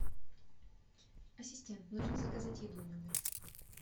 ассистент нужно заказать еду в номер